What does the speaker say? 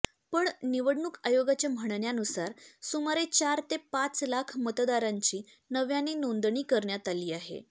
पण निवडणूक आयोगाच्या म्हणण्यानुसार सुमारे चार ते पाच लाख मतदारांची नव्याने नोंदणी करण्यात आली आहे